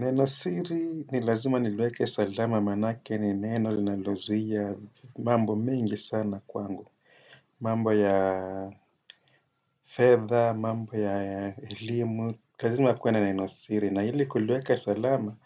Nina siri ni lazima niliweke salama maanake ni neno linalozuia mambo mingi sana kwangu. Mambo ya fedha, mambo ya elimu, lazima kuwe na nenosiri. Na hili kuliweke salama,